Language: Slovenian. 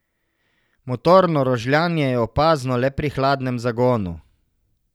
Motorno rožljanje je opazno le pri hladnem zagonu.